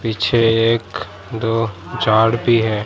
पीछे एक दो झाड़ भी हैं।